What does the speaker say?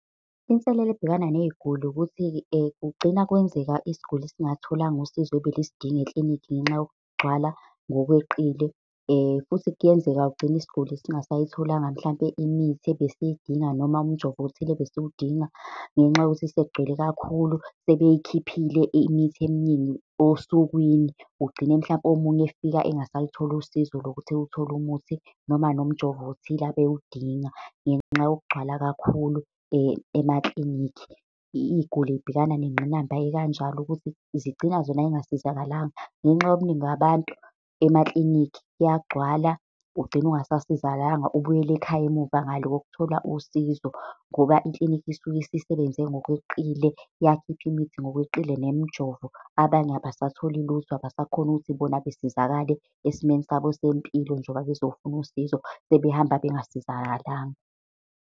Inselelo ebhekana ney'guli, ukuthi kugcina kwenzeka isiguli singalutholanga usizo ebelisidinga ekilinikhi ngenxa yokugcwala ngokweqile. Futhi kuyenzeka ugcine isiguli singasayitholanga mhlampe imithi ebesidinga, noma umjovo othile ebesudinga ngenxa yokuthi sekugcwele kakhulu, sebeyikhiphile imithi eminingi osukwini. Ugcine mhlampe omunye efika engasalutholi usizo lokuthi eyothola umuthi, noma nomjovo othile abewudinga ngenxa yokugcwala kakhulu emakilinikhi. Iy'guli y'bhekana nengqinamba ekanjalo ukuthi zigcina zona zingasizakalanga, ngenxa yobuningi babantu emakilinikhi, kuyagcwala ugcine ungasasizakalanga ubuyele ekhaya emuva ngale kokuthola usizo. Ngoba ikilinikhi isuke isisebenze ngokweqile, yakhipha imithi ngokweqile nemijovo, abanye abasatholi lutho, abasakhoni ukuthi bona besizakale esimeni sabo sempilo njengoba bezofuna usizo, sebehamba bengasizakalanga.